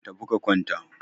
tafi ka kwanta!